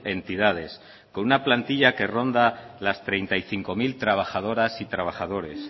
entidades con una plantilla que ronda las treinta y cinco mil trabajadoras y trabajadores